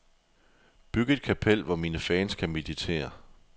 Byg et kapel, hvor mine fans kan meditere.